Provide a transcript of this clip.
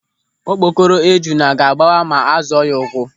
Okpokoro ejuna ga-agbawa ma a zọọ ya ụ́kwụ́.